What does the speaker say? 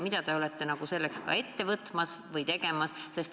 Mida te kavatsete selleks ette võtta või olete juba võtnud?